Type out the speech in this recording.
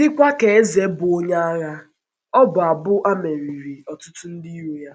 Dịkwa ka eze bụ́ onye agha, ọbụ abụ a meriri ọtụtụ ndị iro ya.